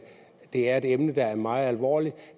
er et emne der er meget alvorligt